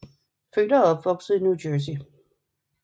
Født og opvokset i New Jercey